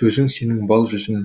сөзің сенің бал жүзім